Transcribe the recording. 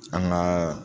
An ka